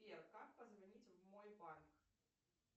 сбер как позвонить в мой банк